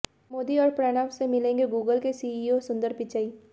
मोदी और प्रणब से मिलेंगे गूगल के सीईओ सुंदर पिचई